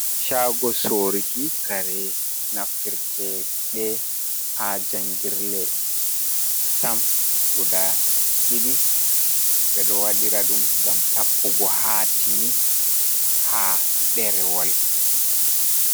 Shago soruki kare naftirtede ha jangirle, stam guda ɗiɗi, ɓe ɗo waɗira ɗum ngam tappugo haatimmi ha ɗerewol.